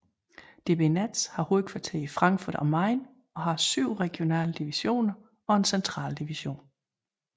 DB Netz har hovedkvarter i Frankfurt am Main og har 7 regionale divisioner og en central division